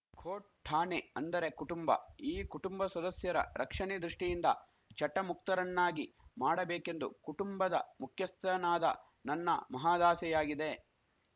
coat ಠಾಣೆ ಅಂದರೆ ಕುಟುಂಬ ಈ ಕುಟುಂಬ ಸದಸ್ಯರ ರಕ್ಷಣೆ ದೃಷ್ಟಿಯಿಂದ ಚಟ ಮುಕ್ತರನ್ನಾಗಿ ಮಾಡಬೇಕೆಂದು ಕುಟುಂಬದ ಮುಖ್ಯಸ್ಥನಾದ ನನ್ನ ಮಹದಾಸೆಯಾಗಿದೆ